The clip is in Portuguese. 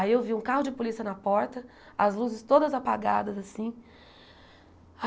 Aí eu vi um carro de polícia na porta, as luzes todas apagadas, assim.